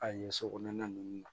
A yen so kɔnɔna ninnu na